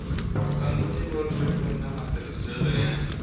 swa ntivoririmi na matirhiselo ya